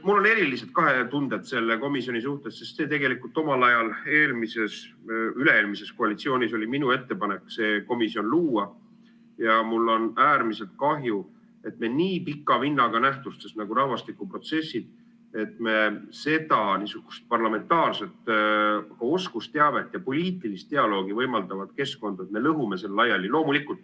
Mul on erilised tunded selle komisjoni suhtes, sest omal ajal, üle-eelmises koalitsioonis oli minu ettepanek see komisjon luua ja mul on äärmiselt kahju, et me nii pika vinnaga nähtustes nagu rahvastikuprotsessid seda niisugust parlamentaarset oskusteavet ja poliitilist dialoogi võimaldavat keskkonda lõhume laiali.